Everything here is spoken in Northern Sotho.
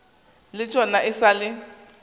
le tšona e sa le